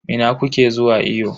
Ina kuke zuwa iyo?